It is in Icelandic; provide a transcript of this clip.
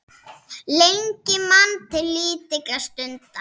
Lengi man til lítilla stunda